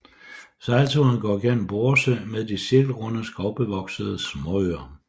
Sejlturen går gennem Borre Sø med de cirkelrunde skovbevoksede småøer